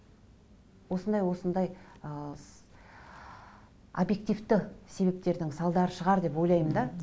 осындай осындай ыыы обьективті себептердің салдары шығар деп ойлаймын да